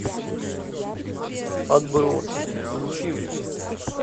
отбросы включи мне